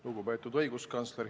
Lugupeetud õiguskantsler!